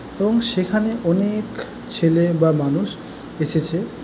এবং সেখানে অনেএক ছেলে বা মানুউষ এসেছে।